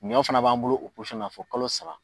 Ɲɔ fana b'an bolo o fo kalo saba